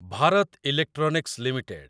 Bharat Electronics limited